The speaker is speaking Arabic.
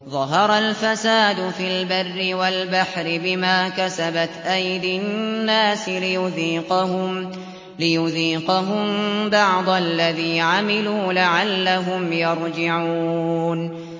ظَهَرَ الْفَسَادُ فِي الْبَرِّ وَالْبَحْرِ بِمَا كَسَبَتْ أَيْدِي النَّاسِ لِيُذِيقَهُم بَعْضَ الَّذِي عَمِلُوا لَعَلَّهُمْ يَرْجِعُونَ